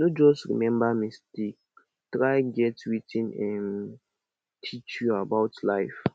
no just remmba mistake try get wetin em teach you about life